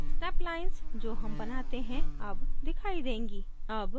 snap lines जो हम बनाते हैं अब दिखाई देंगी